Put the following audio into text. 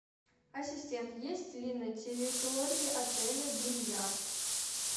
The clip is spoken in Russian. ассистент есть ли на территории отеля бильярд